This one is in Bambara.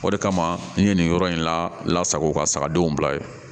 O de kama n ye nin yɔrɔ in lasago ka sagadenw bila yen